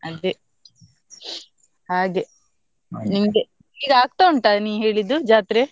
ಅದೇ ಹಾಗೆ ಈಗ ಆಗ್ತ ಉಂಟ ನೀ ಹೇಳಿದ್ದು ಜಾತ್ರೆ?